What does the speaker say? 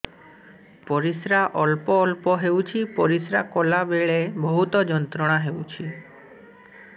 ପରିଶ୍ରା ଅଳ୍ପ ଅଳ୍ପ ହେଉଛି ପରିଶ୍ରା କଲା ବେଳେ ବହୁତ ଯନ୍ତ୍ରଣା ହେଉଛି